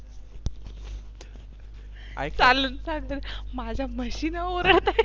चालत चालन माझ्या म्हशी ना ओरडता आहे.